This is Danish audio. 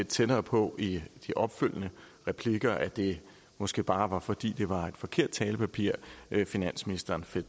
tættere på i de opfølgende replikker og at det måske bare var fordi det var et forkert talepapir finansministeren